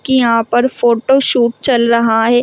की यहां पर फोटो शूट चल रहा है।